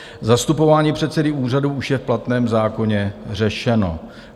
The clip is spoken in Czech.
Zastupování předsedy úřadu už je v platném zákoně řešeno.